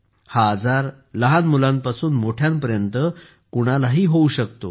हा आजार लहान मुलांपासून मोठ्यांपर्यंत कोणालाही होऊ शकतो